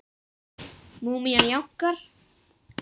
Múmían jánkar.